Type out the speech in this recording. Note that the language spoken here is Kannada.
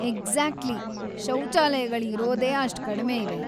ಎಕ್ಸಾಕ್ಟ್ಲೀ, ಶೌಚಾಲಯಗಳು ಇರೋದೇ ಅಷ್ಟ್‌ ಕಡ್ಮೆ ಇವೆ.